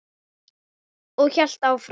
Og hélt áfram: